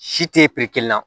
Si te la